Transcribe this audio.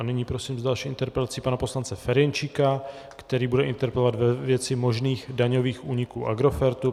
A nyní prosím s další interpelací pana poslance Ferjenčíka, který bude interpelovat ve věci možných daňových úniků Agrofertu.